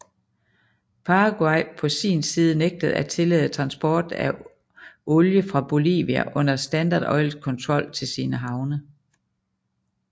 Paraguay på sin side nægtede at tillade transport af olie fra Bolivia under Standard Oils kontrol til sine havne